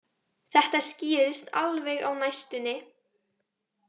Þetta skýrist alveg á næstunni